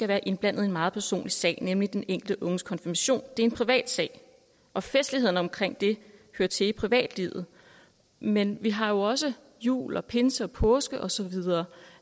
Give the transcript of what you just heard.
være indblandet i en meget personlig sag nemlig den enkelte unges konfirmation det er en privat sag og festlighederne omkring det hører til i privatlivet men vi har jo også jul og pinse og påske osv